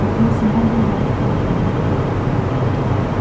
отец магл мать колдунья